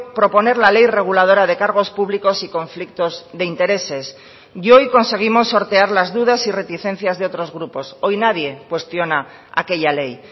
proponer la ley reguladora de cargos públicos y conflictos de intereses y hoy conseguimos sortear las dudas y reticencias de otros grupos hoy nadie cuestiona aquella ley